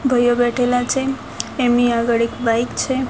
ભઇઓ બેઠેલા છે એમની આગળ એક બાઈક છે.